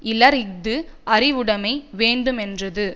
இலர் இஃது அறிவுடைமை வேண்டுமென்றது